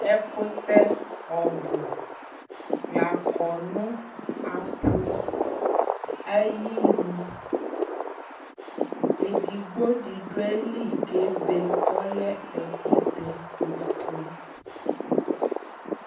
ɛkʋtɛ ɔbʋ lakɔ nʋ apʋ ayinʋ, ɛdigbɔ di du ayili kʋ ɛbɛ kʋ ɔlɛ ɛkʋtɛ ɔƒʋɛ